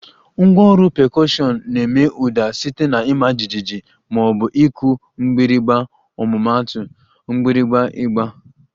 Ngwá ọrụ pekọshiọn na-eme ụda site na ịma jijiji ma ọ bụ ịkụ mgbịrịgba ọmụmaatu, mgbirigba, ịgba